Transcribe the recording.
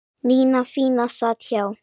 Nína fína sat hjá